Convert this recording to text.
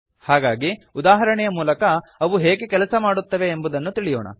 ಹಾಗಾಗಿ ಉದಾಹರಣೆಯ ಮೂಲಕ ಅವು ಹೇಗೆ ಕೆಲಸ ಮಾಡುತ್ತವೆ ಎಂಬುದನ್ನು ತಿಳಿಯೋಣ